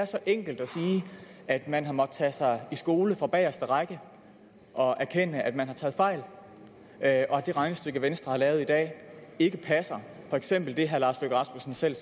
så enkelt at sige at man har måttet lade tage sig i skole fra bageste række og erkende at man har taget fejl og at det regnestykke venstre har lavet i dag ikke passer for eksempel det herre lars løkke rasmussen selv